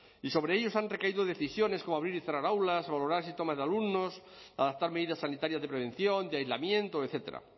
y sobre ellos han recaído decisiones como abrir y cerrar aulas valorar los síntomas de alumnos adaptar medidas sanitarias de prevención de aislamiento etcétera